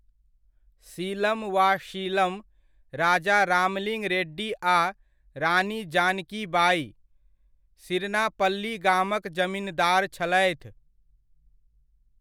सीलम वा शीलम राजा रामलिंग रेड्डी आ रानी जानकी बाइ, सिरनापल्ली गामक जमिनदार छलथि।